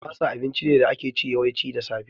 Masa abinci ne da ake ci, yawanci da safe